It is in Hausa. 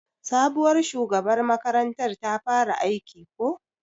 Sabuwar shugabar makarantar ta fara aiki ko?